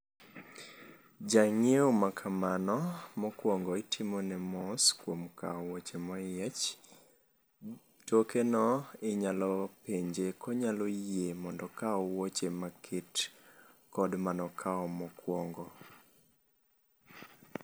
Jang'iewo makamano mokuongo itimone mos kuom kawo wuoche moyiech. Tokeno, inyalo penje konyalo yie mondo okaw wuoche maket kod manokawo mokuongo.